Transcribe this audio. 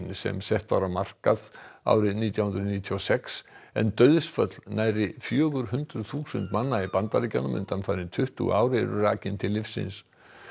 sem sett var á markað árið nítján hundruð níutíu og sex en dauðsföll nærri fjögur hundruð þúsund manna í Bandaríkjunum undanfarin tuttugu ár eru rakin til lyfsins